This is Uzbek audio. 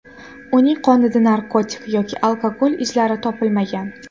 Uning qonida narkotik yoki alkogol izlari topilmagan.